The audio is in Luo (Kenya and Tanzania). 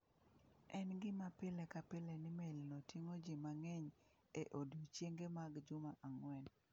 En gima pile ka pile ni melino ting’o ji mang’eny e odiechienge mag juma ang’wen.